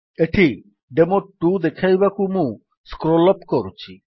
ଏଠି ଡେମୋ2 ଦେଖାଇବାକୁ ମୁଁ ସ୍କ୍ରୋଲ୍ ଅପ୍ କରୁଛି